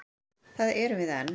Þar erum við enn.